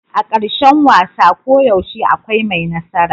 A karshen wasa koyaushe akwai mai nasara.